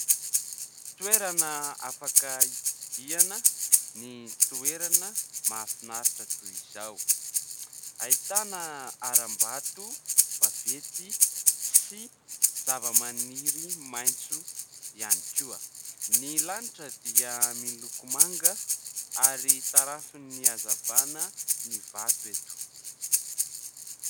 Toerana afaka tsidihana ny toerana mahafinaritra toy izao. Ahitana haram-bato vaventy sy zavamaniry maitso ihany koa. Ny lanitra dia miloko manga ary tarafin'ny hazavana ny vato eto.